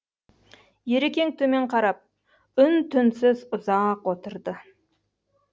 ерекең төмен қарап үн түнсіз ұзақ отырды